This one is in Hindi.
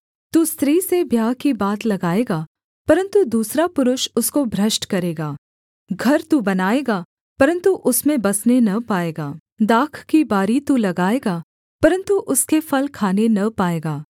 तू स्त्री से ब्याह की बात लगाएगा परन्तु दूसरा पुरुष उसको भ्रष्ट करेगा घर तू बनाएगा परन्तु उसमें बसने न पाएगा दाख की बारी तू लगाएगा परन्तु उसके फल खाने न पाएगा